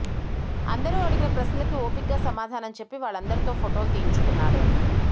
అందరూ అడిగిన ప్రశ్నలకి ఓపిగ్గా సమాధానం చెప్పి వాళ్లందరితో ఫొటోలు తీయించుకున్నాడు